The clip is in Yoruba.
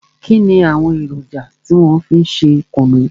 Kínni àwọn èròjà tí wọn fi ń ṣe kùnú?